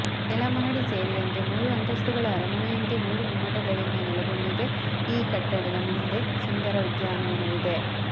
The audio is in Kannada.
ನೆಲ ಮಹಡಿ ಸೇರಿದಂತೆ ಮೂರು ಅಂತಸ್ತುಗಳ ಅರಮನೆಯಂತೆ ಮೂರು ಗುಮ್ಮಟಗಳಿಂದ ನೆಲೆಗೊಂಡಿದೆ ಈ ಕಟ್ಟಡದ ಮುಂದೆ ಸುಂದರ ಉದ್ಯಾನವನವಿದೆ